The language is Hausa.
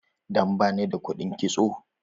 Dan bani da kuɗin kitso.